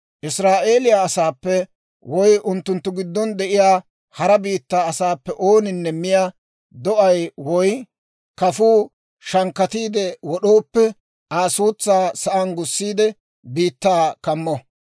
« ‹Israa'eeliyaa asaappe woy unttunttu giddon de'iyaa hara biittaa asaappe ooninne miyaa do'aa woy kafuwaa shankkatiide wod'ooppe, Aa suutsaa sa'aan gussiide, biittaa kammo.